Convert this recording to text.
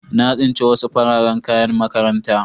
Na tsince wasu fararen kayan makaranta.